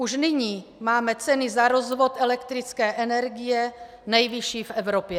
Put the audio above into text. Už nyní máme ceny za rozvod elektrické energie nejvyšší v Evropě.